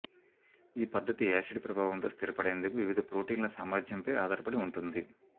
ఈ పద్ధతి యాసిడ్ ప్రభావంతో స్థిరపడేందుకు వివిధ ప్రోటీన్ల సామర్థ్యంపై ఆధారపడి ఉంటుంది